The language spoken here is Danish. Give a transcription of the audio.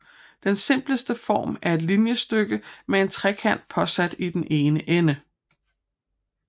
Den simpleste form er et linjestykke med en trekant påsat i den ene ende